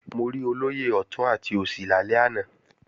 Mo rí olóyè ọ̀tún àti òsì lálẹ́ àná